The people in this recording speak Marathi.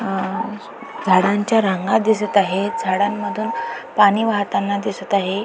अ झाडांच्या रांगा दिसत आहेत झाडांमधून पाणी वाहताना दिसत आहे.